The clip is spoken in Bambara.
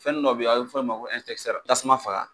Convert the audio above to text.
Fɛn dɔ bɛyinɔ a bɛ fɔ ma ko tasuma faga.